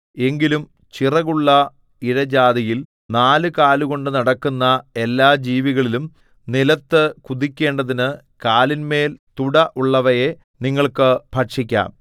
എങ്കിലും ചിറകുള്ള ഇഴജാതിയിൽ നാലുകാലു കൊണ്ട് നടക്കുന്ന എല്ലാ ജീവികളിലും നിലത്തു കുതിക്കേണ്ടതിനു കാലിന്മേൽ തുട ഉള്ളവയെ നിങ്ങൾക്ക് ഭക്ഷിക്കാം